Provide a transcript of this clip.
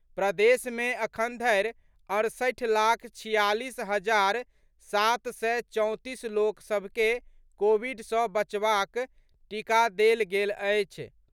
प्रदेश मे अखन धरि सड़सठि लाख छियालीस हजार सात सय चौंतीस लोक सभ के कोविड सँ बचावक टीका देल गेल अछि।